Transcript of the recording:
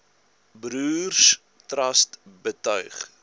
broers trust betuig